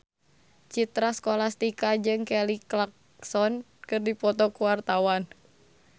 Citra Scholastika jeung Kelly Clarkson keur dipoto ku wartawan